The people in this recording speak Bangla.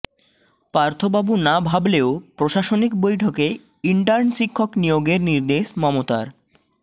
পার্থবাবু না ভাবলেও প্রশাসনিক বৈঠকে ইন্টার্ন শিক্ষক নিয়োগের নির্দেশ মমতার